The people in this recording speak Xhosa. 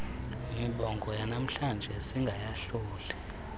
mibongo yanamhlanje singayahluli